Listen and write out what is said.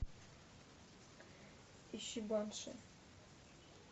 ищи банши